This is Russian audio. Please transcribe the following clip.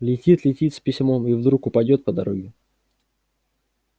летит летит с письмом и вдруг упадёт по дороге